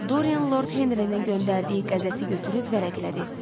Dorian Lord Henrinin göndərdiyi qəzeti götürüb vərəqlədi.